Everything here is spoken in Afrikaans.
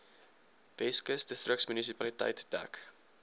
weskus distriksmunisipaliteit dek